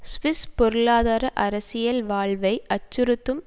Swiss பொருளாதார அரசியல் வாழ்வை அச்சுறுத்தும்